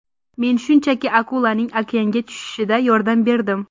Men shunchaki akulaning okeanga tushishida yordam berdim.